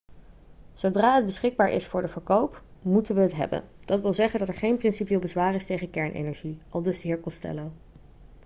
'zodra het beschikbaar is voor de verkoop moeten we het hebben. dat wil zeggen dat er geen principieel bezwaar is tegen kernenergie,' aldus de heer costello